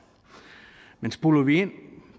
men zoomer vi ind